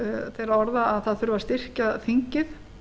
þeirra orða að það þurfi að styrkja þingið